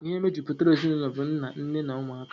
Ihe mejupụtara ezinụlọ bu nna, nne na ụmụaka.